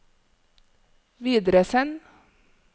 videresend